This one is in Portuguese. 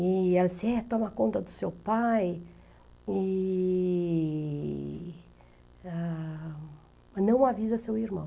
E ela disse, é, toma conta do seu pai e ah... Não avisa seu irmão.